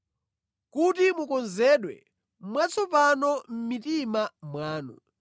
kuti mukonzedwe mwatsopano mʼmitima mwanu;